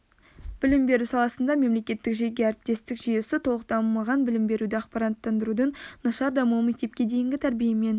білім беру саласында мемлекеттік жеке-әріптестік жүйесі толық дамымаған білім беруді ақпараттандырудың нашар дамуы мектепке дейінгі тәрбиемен